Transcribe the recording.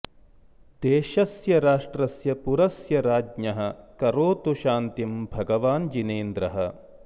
देशस्य राष्ट्रस्य पुरस्य राज्ञः करोतु शान्तिं भगवान् जिनेन्द्रः